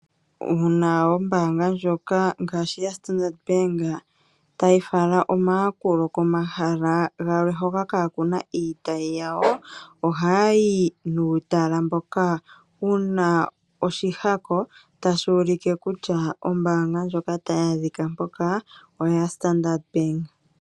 Uuna ngaashi ombaanga ndjoka ya standard bank tayi fala omayakulo komahala gamwe hoka kaakuna iitayi yawo, ohaya yi nuutala mboka wuna oshihako tashi ulike kutya ombaanga ndjoka tayi a dhika mpoka oya Standard bank.